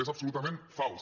és absolutament fals